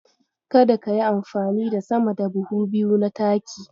Kada kayi amfani da sama da buhu biyu na taki.